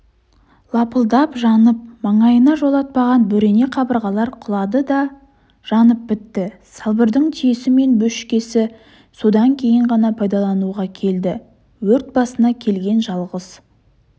лапылдап жанып маңайына жолатпаған бөрене қабырғалар құлады да жанып бітті салбырдың түйесі мен бөшкесі содан кейін ғана пайдалануға келді өрт басына келген жалғыз